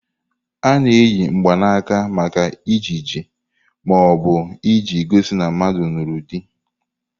A na-eyi mgbanaka maka ejiji ma ọ bụ iji gosi na mmadu lụrụ di.